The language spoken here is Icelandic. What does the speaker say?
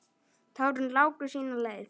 Tárin láku sína leið.